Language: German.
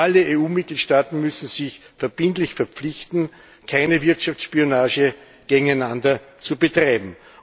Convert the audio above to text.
Alle EU Mitgliedstaaten müssen sich verbindlich verpflichten, keine Wirtschaftsspionage gegeneinander zu betreiben.